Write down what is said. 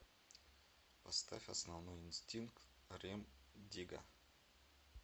поставь основной инстинкт рем дигга